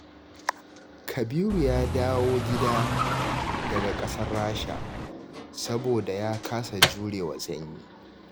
Kabiru ya dawo gida daga ƙasar Rasha, saboda ya kasa jurewa sanyi.